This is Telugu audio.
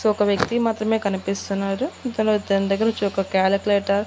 సో ఒక వ్యక్తి మాత్రమే కనిపిస్తున్నారు ఇతను తన దగ్గర నుంచి ఒక క్యాలిక్యులేటర్ --